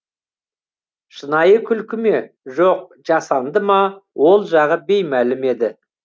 шынайы күлкі ме жоқ жасанды ма ол жағы беймәлім еді